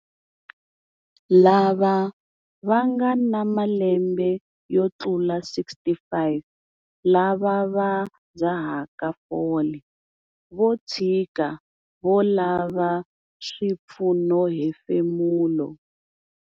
Lava va nga na malembe yo tlula 65 lava va dzahaka fole vo tshika vo lava swipfunohefemulo.